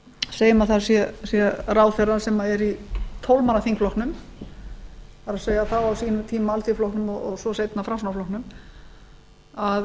segjum að það sé ráðherra sem er í tólf manna þingflokknum það er þá á sínum tíma alþýðuflokknum og svo seinna